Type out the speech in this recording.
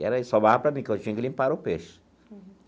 E era isso sobrava para mim, que eu tinha que limpar o peixe.